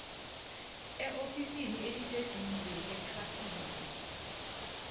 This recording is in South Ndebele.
eofisini eliseduze lethrafigi